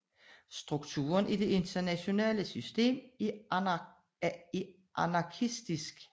Strukturen i det internationale system er anarkisk